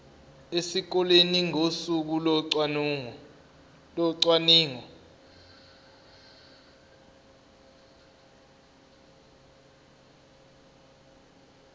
esikoleni ngosuku locwaningo